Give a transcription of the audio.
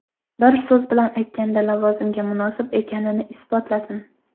Bir so‘z bilan aytganda, lavozimga munosib ekanini isbotlasin.